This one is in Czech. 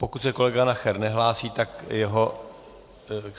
Pokud se kolega Nacher nehlásí, tak jeho...